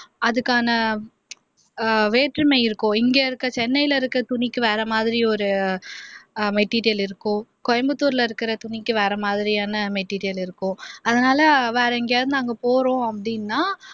அதுக்கான வேற்றுமை இருக்கும், இங்க இருக்கிற சென்னையில இருக்கிற துணிக்கு வேற மாதிரி ஒரு மெட்டீரியல் இருக்கும் கோயம்புத்தூர்ல இருக்கிற துணிக்கு வேற மாதரியான மெட்டீரியல் இருக்கும் அதனால வேற எங்கயாவது நாங்க போறோம் அப்படின்னா